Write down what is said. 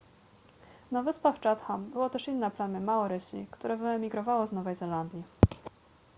na wyspach chatham było też inne plemię maorysi które wyemigrowało z nowej zelandii